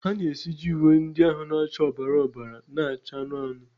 ha na-esiji uwe ndị ahụ na-acha ọbara ọbara na-acha anụnụ anụnụ.